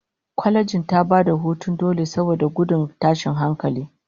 Kwalejin ta bayar da hutun dole saboda gudun tashin hankali